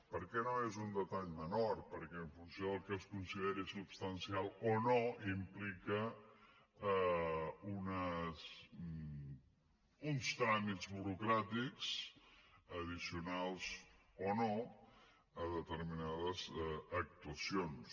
perquè no és un detall menor perquè en funció del que es consideri substancial o no implica uns tràmits burocràtics addicionals o no a determinades actuacions